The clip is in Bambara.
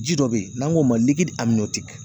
Ji dɔ be yen n'an k'o ma likiri